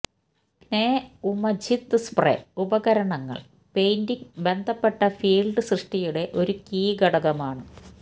പ്നെഉമതിച് spray ഉപകരണങ്ങൾ painting ബന്ധപ്പെട്ട field സൃഷ്ടിയുടെ ഒരു കീ ഘടകമാണ്